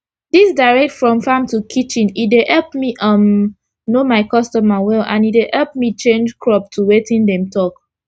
dis direct from farm to kitchen e deyepp me um know my customer well and e dey epp me change crop to wetin dem talk